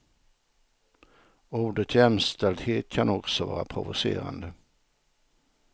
Ordet jämställdhet kan också vara provocerande.